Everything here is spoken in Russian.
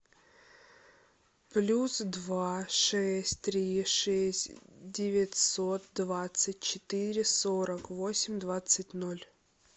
плюс два шесть три шесть девятьсот двадцать четыре сорок восемь двадцать ноль